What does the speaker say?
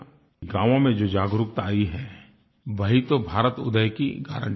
गाँवों में जो जागरूकता आयी है वही तो भारतउदय की गारंटी है